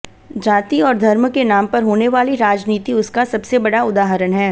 जाति और धर्म के नाम पर होने वाली राजनीति उसका सबसे बड़ा उदाहरण है